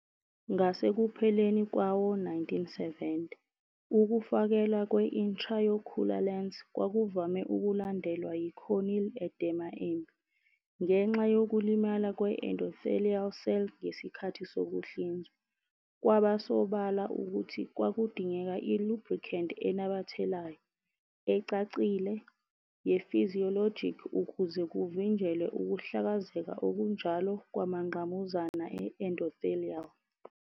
Ngasekupheleni kwawo-1970, ukufakelwa kwe-intraocular lens kwakuvame ukulandelwa yi-corneal edema embi, ngenxa yokulimala kwe-endothelial cell ngesikhathi sokuhlinzwa. Kwaba sobala ukuthi kwakudingeka i-lubricant enamathelayo, ecacile, ye-physiologic ukuze kuvinjelwe ukuhlakazeka okunjalo kwamangqamuzana e-endothelial.